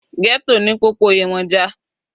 Ghetto ni popoyemoja.